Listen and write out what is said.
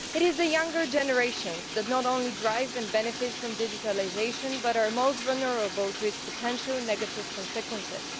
It is the younger generations that not only drive and benefit from digitalisation but are most vulnerable to its potential negative consequences.